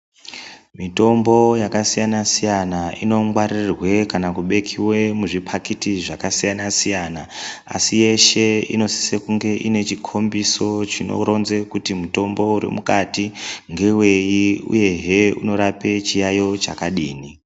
Mitombo yakasiyana siyana inongwaririrwe kana kubekiwe muzvipakiti zvakasiyana siyana. Asi yeshe inosise kunge ine chikombiso chinoronze kuti mutombo uri mukati ngewei, uyehe unorape chiyaiyo chakadini.